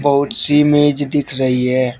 बहोत सी मेज दिख रही है।